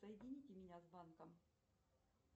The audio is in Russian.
соедините меня с банком